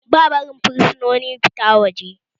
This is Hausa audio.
Ba barin fursunoni fita waje